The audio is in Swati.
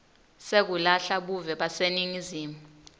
sekulahla buve baseningizimu